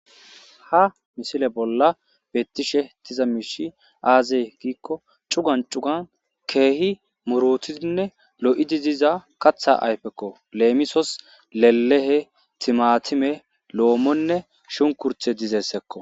ha misile bolla bettishe diza miishi aazee giikko cugan cugan keehi murutidinne lo7idi diza katha ayfekko leemisos lelehe, timatime, loomonne shunkurtte dizayssakko